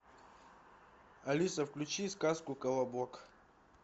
алиса включи сказку колобок